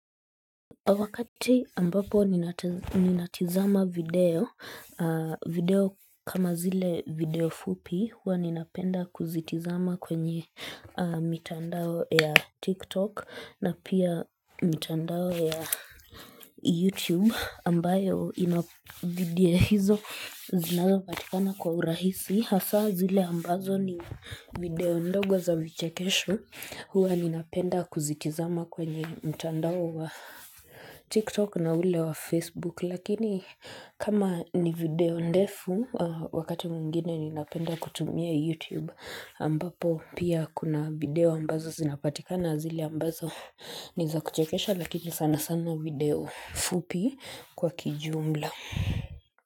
Wakati ambapo ninatizama video, video kama zile video fupi, hua ninapenda kuzitizama kwenye mitandao ya TikTok na pia mitandao ya YouTube ambayo ina video hizo zinazo patikana kwa urahisi. Hasa zile ambazo ni video ndogo za vichekesho huwa ninapenda kuzitizama kwenye mtandao wa TikTok na ule wa Facebook lakini kama ni video ndefu wakati muingine ninapenda kutumia YouTube ambapo pia kuna video ambazo zinapatika na zile ambazo niza kuchekesha lakini sana sana video fupi kwa kijumla.